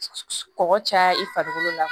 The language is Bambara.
Kɔgɔ caya i farikolo la